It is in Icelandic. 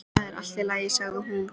Það er allt í lagi sagði hún.